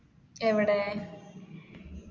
എവടെ?